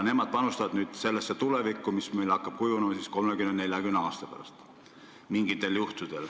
Nemad panustavad nüüd sellesse tulevikku, mis meil mingitel juhtudel hakkab kujunema kolmekümne-neljakümne aasta pärast.